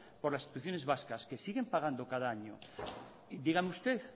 por las instituciones vascas que siguen pagando cada año dígame usted